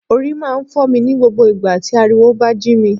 Orí máa ń fọ́ mi ní gbogbo ìgbà tí ariwo bá jí mi